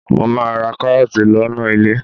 Mo máa ra kárọ́ọ̀tì lọ́nà ilé.